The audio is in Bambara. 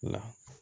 La